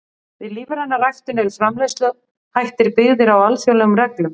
Við lífræna ræktun eru framleiðsluhættir byggðir á alþjóðlegum reglum.